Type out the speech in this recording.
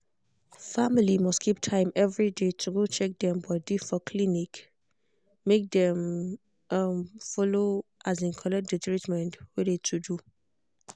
family must keep time every day to go check um body for clinic make dem um follow um collecct de treatment wey de to do.